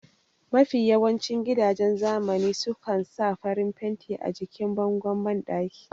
Mafiya yawancin gidajen zamani su kan sa farin fenti a jikin bangon banɗaki